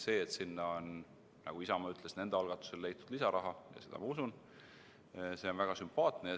See, et sinna on, nagu Isamaa ütles, nende algatusel leitud lisaraha – ja seda ma usun –, on väga sümpaatne.